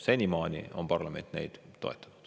Senimaani on parlament neid toetanud.